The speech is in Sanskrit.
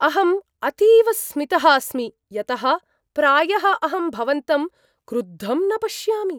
अहम् अतिविस्मितः अस्मि यतः प्रायः अहं भवन्तं क्रुद्धं न पश्यामि।